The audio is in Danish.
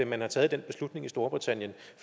man har taget den beslutning i storbritannien